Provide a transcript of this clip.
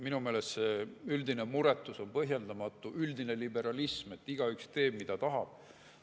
Minu meelest on see üldine muretus, üldine liberalism, et igaüks teeb, mida tahab, põhjendamatu.